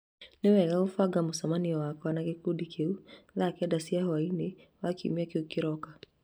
Nĩ wega kũbanga mũcemanio wakwa na gĩkundi kĩu thaa kenda cia hwaĩ-inĩ wa Kiumia kĩrĩa kĩroka.